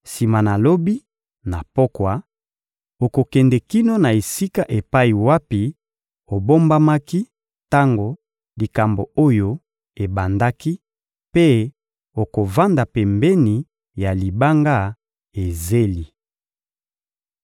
Sima na lobi, na pokwa, okokende kino na esika epai wapi obombamaki tango likambo oyo ebandaki mpe okovanda pembeni ya libanga Ezeli.